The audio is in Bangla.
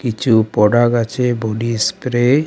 কিছু পোডাক আছে বডিস্প্রে ।